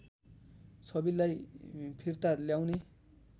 छविलाई फिर्ता ल्याउने